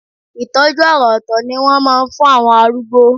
Ìtọ́jú àrà òtò ni wọ́n máa ń fún àwọn arúgbó.